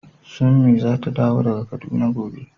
Summi zata dawo daga kaduna gobe.